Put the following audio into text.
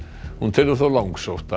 hún telur þó langsótt